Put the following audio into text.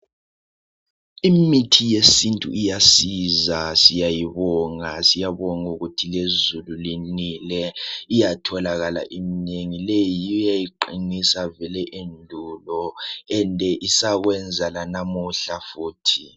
Imithi yesintu iyasiza siyayibonga. Siyabonga ukuthi lezulu linile iyatholakala iminengi . Leyi yiyo eyayiqinisa vele endulo ende isakwenza lanamuhla futhi.